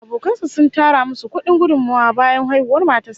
Abokan sa sun tara musu kudi gudummawa bayan haihuwar matar sa